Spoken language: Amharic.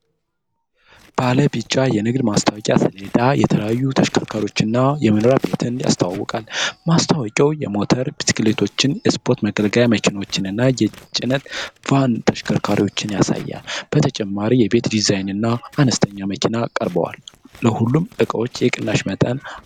ባለ ቢጫ የንግድ ማስታወቂያ ሰሌዳ የተለያዩ ተሽከርካሪዎችንና የመኖሪያ ቤትን ያስተዋውቃል። ማስታወቂያው የሞተር ብስክሌቶችን፣ የስፖርት መገልገያ መኪናዎችንና የጭነት ቫን ተሽከርካሪዎችን ያሳያል። በተጨማሪም የቤት ዲዛይኖችና አነስተኛ መኪና ቀርበዋል; ለሁሉም እቃዎች የቅናሽ መጠን አንድ ነው?